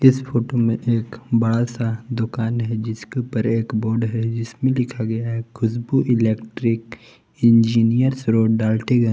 इस फोटो में एक बड़ा सा दुकान है जिसके ऊपर एक बोर्ड है। जिसमें लिखा गया है Khushbu electric engineers road Daltonganj.